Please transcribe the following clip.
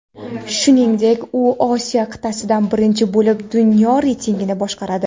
Shuningdek, u Osiyo qit’asidan birinchi bo‘lib dunyo reytingini boshqaradi.